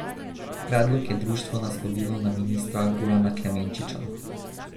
Predlog je društvo naslovilo na ministra Gorana Klemenčiča.